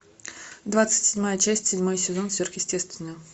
двадцать седьмая часть седьмой сезон сверхъестественное